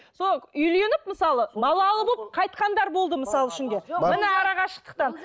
сол үйленіп мысалы балалы болып қайтқандар болды мысал үшін де міне арақашықтықтан